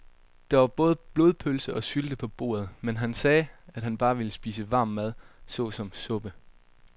Der var både blodpølse og sylte på bordet, men han sagde, at han bare ville spise varm mad såsom suppe.